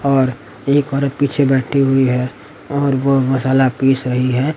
और एक औरत पीछे बैठी हुई हैं और वह मसाला पीस रही हैं।